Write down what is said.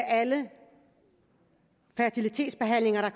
alle fertilitetsbehandlinger